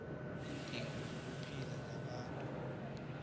iindingo zokuphila zabantu